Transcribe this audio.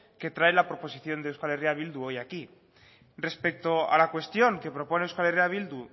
que trae la proposición de euskal herria bildu hoy aquí respecto a la cuestión que propone euskal herria bildu